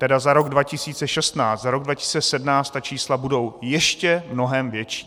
Tedy za rok 2016, za rok 2017 ta čísla budou ještě mnohem větší.